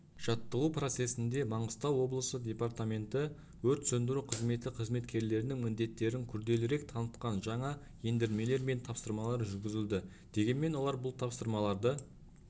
жаттығу процесінде маңғыстау облысы департаменті өрт сөндіру қызметі қызметкерлерінің міндеттерін күрделірек танытқан жаңа ендірмелер мен тапсырмалар жүргізілді дегенмен олар бұл тапсырмаларды